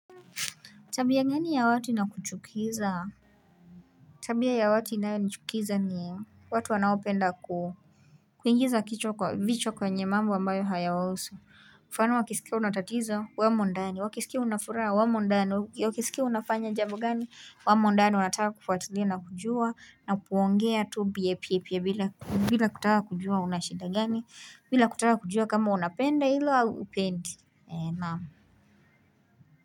Tabia gani ya watu ina kuchukiza? Tabia ya watu inayo nichukiza ni watu wanaopenda kuu. Kuingiza kichwa kwa vichwa kwenye mambo ambayo hayawahusu. Mfano wakisikia unatatizo wamo ndani wakisikia unafuraha wamo ndani wakisikia unafanya jambo gani wamo ndani wanataka kufatilia na kujua na kuongea tu biepi epie bila kutaka kujua unashinda gani bila kutaka kujua kama unapenda ilo upendi naamu.